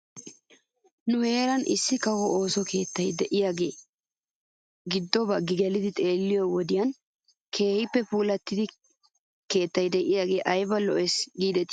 Nu heeran issi kawo ooso keettay de'iyaagaa giddo bagii gelidi xeelliyoo wodiyan keehippe puulattidi keetta giddiy ayba lo'es giidetii .